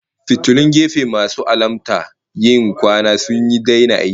Fitilun gefe masu alamta yin kwana sun daina aiki